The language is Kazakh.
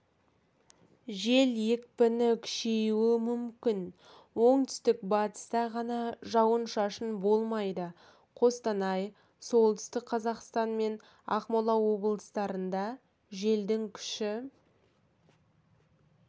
жел екпіні күшеюі мүмкін оңтүстік-батыста ғана жауын-шашын болмайды қостанай солтүстік қазақстан мен ақмола облыстарында желдің күші